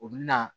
O bi na